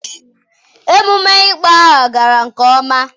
Emume ịkpọ aha gara nke ọma.